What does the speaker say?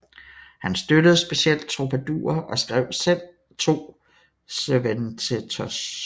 Han støttede specielt troubadourer og skrev selv to sirventesos